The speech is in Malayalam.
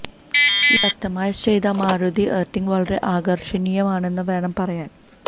ഈ കസ്റ്റമൈസ് ചെയ്ത മാരുതി എര്ട്ടിഗ വളരെ ആകര്ഷണീയമാണെന്ന് വേണം പറയാന്